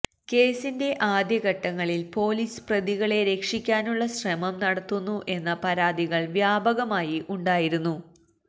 കേസിന്റെ ആദ്യ ഘട്ടങ്ങളിൽ പോലീസ് പ്രതികളെ രക്ഷിക്കാനുള്ള ശ്രമം നടത്തുന്നു എന്ന പരാതികൾ വ്യാപകമായി ഉണ്ടായിരുന്നു